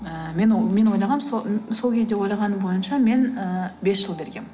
ііі мен ойлағам сол сол кезде ойлағаным бойынша мен і бес жыл бергенмін